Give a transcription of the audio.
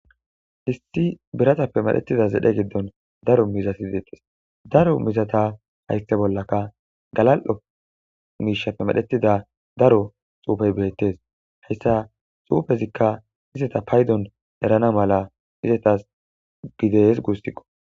Issi biratappe medhettida zedhe daro miizata deettes daro miizata hayththe bollakka galali'o miishshappe medhetida daro xuufey beettes. Hessika xuufezikka izeta paydon erana mala izetas gides guussikko.